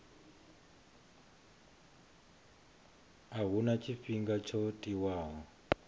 a huna tshifhinga tsho tiwaho